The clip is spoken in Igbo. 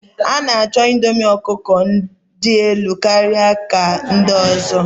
A'nacho indomie ọkụkọ dị elu karịa ika ndị ọzọ.